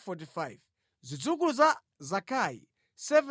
Zidzukulu za Zakai 760